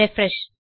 refresh